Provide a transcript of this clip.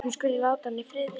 Hún skuli láta hana í friði.